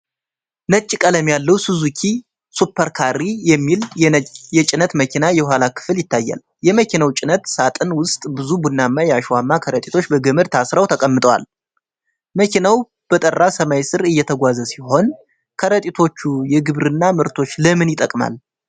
ነጭ ቀለም ያለው 'ሱዙኪ ሱፐር ካሪ' የሚል የጭነት መኪና የኋላ ክፍል ይታያል። የመኪናው ጭነት ሳጥን ውስጥ ብዙ ቡናማ የአሸዋማ ከረጢቶች በገመድ ታስረው ተቀምጠዋል። መኪናው በጠራ ሰማይ ስር እየተጓዘ ሲሆን፣ ከረጢቶቹ የግብርና ምርቶች ለምን ይጠቅማል?